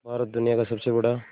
भारत दुनिया का सबसे बड़ा